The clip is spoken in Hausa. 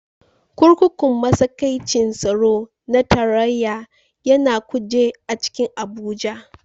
Kurkukun matsakaicin tsaro na tarayya ya na Kuje a cikin Abuja.